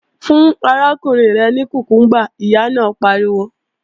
Fún arákùnrin rẹ ní kùkúmbà, Ìyá náà pariwo!